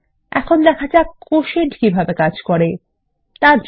এখন দেখা যাক কোটিয়েন্ট কিভাবে কাজ করে দেখা যাক